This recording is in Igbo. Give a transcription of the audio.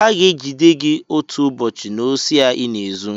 Aga-egide gị otu ụbọchị n'osi a ịna-ezu!